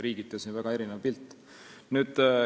Riigiti on siin väga erinev pilt.